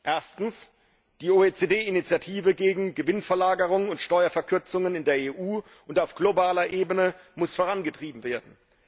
Erstens Die OECD Initiative gegen Gewinnverlagerung und Steuerverkürzungen in der EU und auf globaler Ebene muss vorangetrieben werden.